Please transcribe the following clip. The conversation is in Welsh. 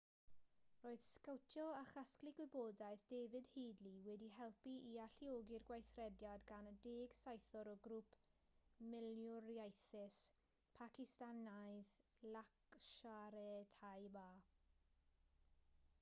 roedd sgowtio a chasglu gwybodaeth david headley wedi helpu i alluogi'r gweithrediad gan y 10 saethwr o grŵp milwriaethus pacistanaidd laskhar-e-taiba